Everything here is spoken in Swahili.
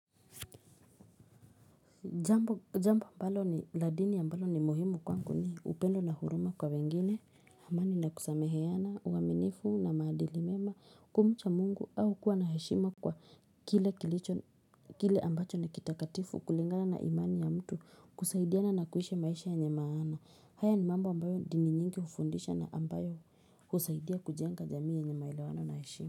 Jambo ambalo ni ladini mbalo ni muhimu kwangu ni upendo na huruma kwa wengine, amani na kusameheana, uaminifu na maadili mema, kumucha mungu au kuwa na heshima kwa kile ambacho na kitakatifu kulingana na imani ya mtu kusaidiana na kuishi maisha yenye maana. Haya ni mambo ambayo dini nyingi hufundisha na ambayo husaidia kujenga jamii yenye maelewano na hashima.